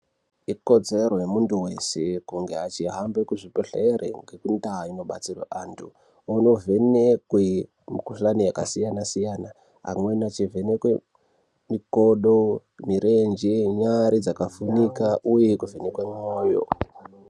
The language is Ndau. Ikodzero yemuntu wese, kunga achihambe kuzvibhedhlere ngekundau inobatsirwe antu, onovhenekwe mikhuhlani yakasiyana-siyana. Amweni echivhenekwe mikodo, mirenje, nyari dzakavhunika uye kuvhenekwe mwoyo.